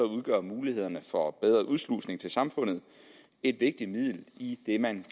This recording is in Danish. udgør mulighederne for bedre udslusning til samfundet et vigtigt middel i det man